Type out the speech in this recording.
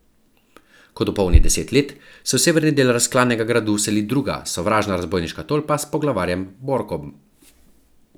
Ko dopolni deset let, se v severni del razklanega gradu vseli druga, sovražna razbojniška tolpa s poglavarjem Borkom.